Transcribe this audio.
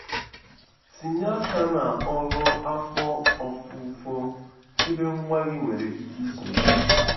Tinye aka na ọrụ afọ ofufo ebe nwa gị nwere ike iso gị.